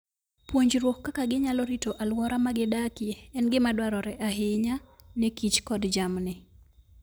Puonjruok kaka ginyalo rito alwora ma gidakie en gima dwarore ahinya ne kich kod jamni.